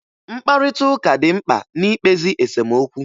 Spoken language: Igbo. Mkparịtaụka dị mkpa na-ikpezi esomokwu